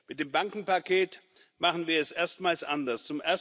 Mit dem Bankenpaket machen wir es erstmals anders.